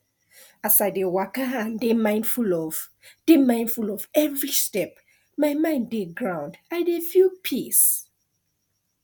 as i dey waka and dey mindful of dey mindful of every step my mind dey ground i dey feel peace